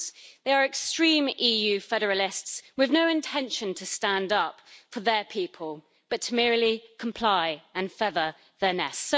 They are extreme EU federalists with no intention to stand up for their people, but merely to comply and feather their nests.